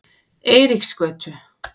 Eiríksgötu